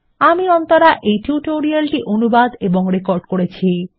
আমি অন্তরা এই টিউটোরিয়াল টি অনুবাদ এবং রেকর্ড করেছি